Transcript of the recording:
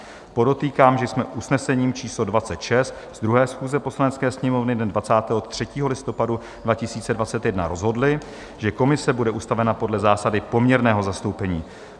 Podotýkám, že jsme usnesením číslo 26 z 2. schůze Poslanecké sněmovny dne 23. listopadu 2021 rozhodli, že komise bude ustavena podle zásady poměrného zastoupení.